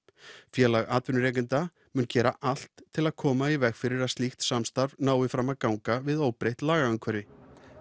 félag atvinnurekenda mun gera allt til að koma í veg fyrir að slíkt samstarf nái fram að ganga við óbreytt lagaumhverfi